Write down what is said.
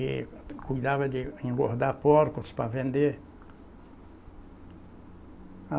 E cuidava de engordar porcos para vender.